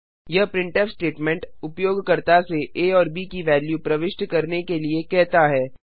यह printf statement उपयोगकर्ता से आ और ब की वेल्यू प्रविष्ट करने के लिए कहता है